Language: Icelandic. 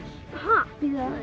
ha